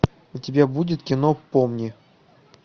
у тебя будет кино помни